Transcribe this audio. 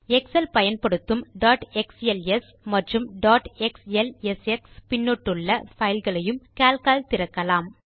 XL பயன்படுத்தும் dot XLS மற்றும் dot XLSX பின்னொட்டுள்ள பைல்களையும் கால்க் ஆல் திறக்கலாம்